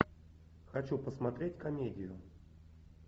хочу посмотреть комедию